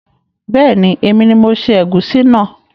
Beeni, èmi ni mo se ègúsí náà